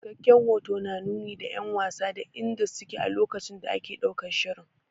Cikakken hoto na nuni da 'yan wasa da inda su ke a lokacin da ake ɗaukan shirin.